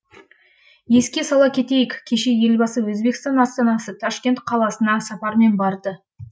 еске сала кетейік кеше елбасы өзбекстан астанасы ташкент қаласына сапармен барды